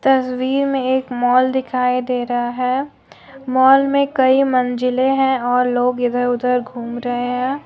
तस्वीर में एक मॉल दिखाई दे रहा है और मॉल में कई मंजिले हैं और लोग इधर उधर घूम रहे हैं।